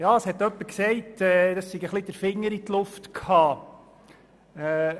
Jemand hat gesagt, man habe wohl einfach den Finger in die Luft gehalten.